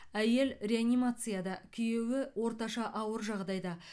әйел реанимацияда күйеуі орташа ауыр жағдайда